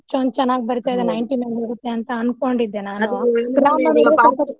ಎಷ್ಟೊಂದ್ ಚೆನ್ನಾಗಿ ಬರೀತಾ ಇದ್ದೆ ninety ಮ್ಯಾಲ ಹೋಗುತ್ತೆ ಅನ್ಕೊಂಡಿದ್ದೆ ನಾನು